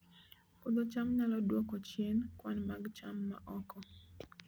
Puodho cham nyalo dwoko chien kwan mag cham ma oko